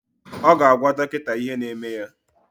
Ọ ga-agwa dọkịta ihe na-eme ya